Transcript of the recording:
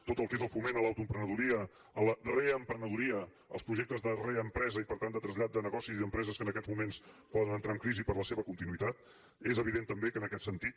tot el que és el foment de l’autoemprenedoria de la reemprenedoria dels projectes de reempresa i per tant de trasllat de negoci i d’empreses que en aquests moments poden entrar en crisi per a la seva continuïtat és evident també que en aquest sentit